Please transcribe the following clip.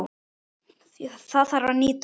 Það þarf að nýta hana.